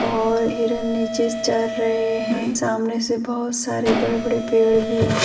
और हिरन नीचे चर रहे हैं सामने से बहुत सारे बड़े बड़े पेड़ भी हैं ।